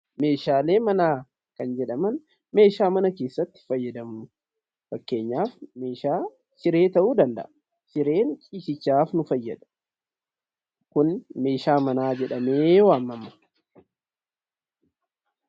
Meeshaalee manaa kan jedhaman meeshaalee mana keessatti itti fayyadamnudha. Fakkeenyaaf siree ta'uu danda'a. Sireenis ciisichaa kan nu fayyadu yoo ta'u, meeshaa manaas jedhamee waamama.